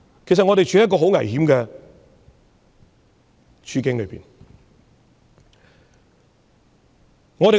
其實，我們正處於一個很危險的處境。